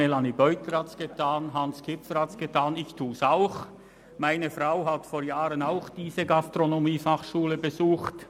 Melanie Beutler und Hans Kipfer haben es getan, und ich tue es auch: Meine Frau hat diese Gastronomiefachschule vor Jahren ebenfalls besucht.